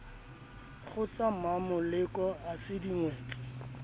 kgotsa mmamoleko ha se dingwetsi